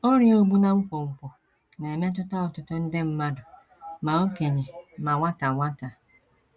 Ọrịa Ogbu na Nkwonkwo na - emetụta ọtụtụ nde mmadụ ma okenye ma nwata nwata.